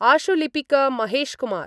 आशुलिपिक Mahesh Kumar